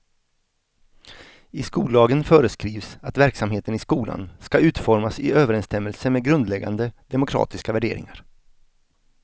I skollagen föreskrivs att verksamheten i skolan ska utformas i överensstämmelse med grundläggande demokratiska värderingar.